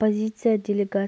қаңтарда біріккен